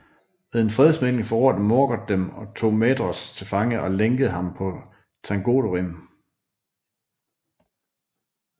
Ved en fredsmægling forrådte Morgoth dem og tog Maedhros til fange og lænkede ham på Thangorodrim